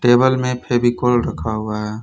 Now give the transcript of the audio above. Table में फेविकोल रखा हुआ है।